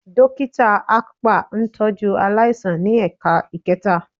Dókítà akpa ń tọ́jú aláìsàn ní ẹ̀ka ẹ̀kẹta